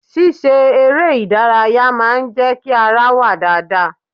Ṣíṣe eré ìdárayá máa ń jẹ́ kí ara wà dáadáa.